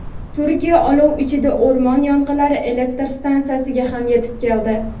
Turkiya olov ichida: o‘rmon yong‘inlari elektr stansiyasiga ham yetib keldi.